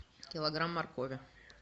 килограмм моркови